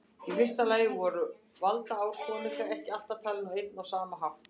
Í fyrsta lagi voru valdaár konunga ekki alltaf talin á einn og sama hátt.